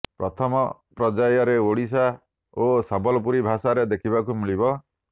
ପ୍ରଥମ ପର୍ଯ୍ୟାୟରେ ଓଡ଼ିଆ ଓ ସମଲପୁରୀ ଭାଷାରେ ଦେଖିବାକୁ ମିଳିବ